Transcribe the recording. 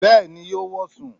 Bẹ́ẹ̀ni yóò wọ̀ sùn